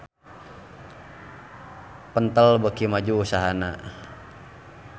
Pentel beuki maju usahana